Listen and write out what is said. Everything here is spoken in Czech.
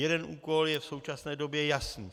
Jeden úkol je v současné době jasný.